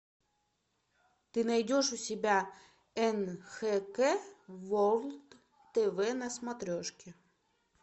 ты найдешь у себя нхк ворлд тв на смотрешке